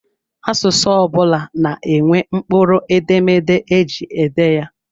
Asụsụ ọ bụla na-enwe mkpụrụ edemede eji ede ya.